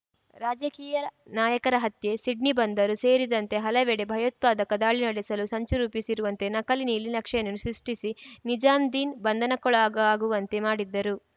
ರಾಜಕೀಯ ನಾಯಕರ ಹತ್ಯೆ ಸಿಡ್ನಿ ಬಂದರು ಸೇರಿದಂತೆ ಹಲವೆಡೆ ಭಯೋತ್ಪಾದಕ ದಾಳಿ ನಡೆಸಲು ಸಂಚು ರೂಪಿಸಿರುವಂತೆ ನಕಲಿ ನೀಲಿನಕ್ಷೆಗಳನ್ನು ಸೃಷ್ಟಿಸಿ ನಿಜಾಮ್ದೀನ್‌ ಬಂಧನಕ್ಕೊಳಗಾಗುವಂತೆ ಮಾಡಿದ್ದರು